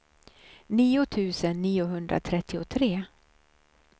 nio tusen niohundratrettiotre